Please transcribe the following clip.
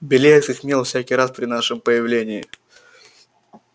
белеет как мел всякий раз при нашем появлении